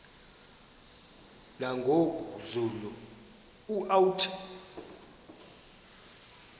nangoku zulu uauthi